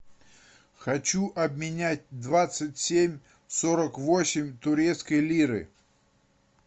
хочу обменять двадцать семь сорок восемь турецкой лиры